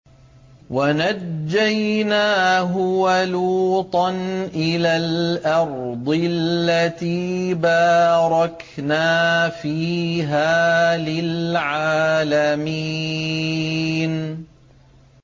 وَنَجَّيْنَاهُ وَلُوطًا إِلَى الْأَرْضِ الَّتِي بَارَكْنَا فِيهَا لِلْعَالَمِينَ